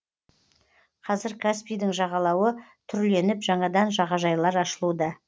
қазір каспийдің жағалауы түрленіп жаңадан жағажайлар ашылуда